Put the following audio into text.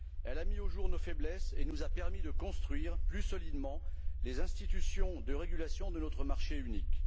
Elle a mis au jour nos faiblesses et nous a permis de construire plus solidement les institutions de régulation de notre marché unique.